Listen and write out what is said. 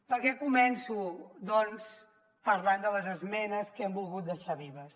per què començo doncs parlant de les esmenes que hem volgut deixar vives